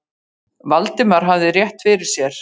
Valdimar hafði rétt fyrir sér.